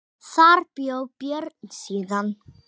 Þar bjó Björn síðan.